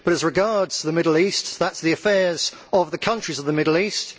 But, as regards the Middle East, that is the affair of the countries of the Middle East.